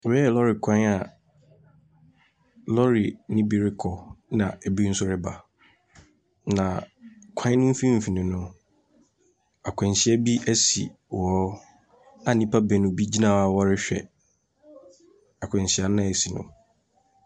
Wei yɛ lɔri kwan a lɔri no bi rekɔ na ebi nso reba. Na kwan no mfimfini no, akwanhyia bi asi wɔ hɔ a nnipa binom gyina hɔ a wɔrewhɛ akwanhyia noa asi no.